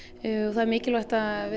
það er mikilvægt að